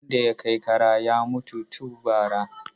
Wanda ya kai ƙara ya mutu tu bara.